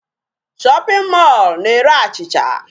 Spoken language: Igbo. Shopping male na-ere achịcha.